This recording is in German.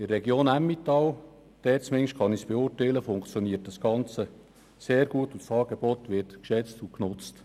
In der Region Emmental, dort zumindest kann ich es beurteilen, funktioniert das Ganze sehr gut, und das Angebot wird geschätzt und genutzt.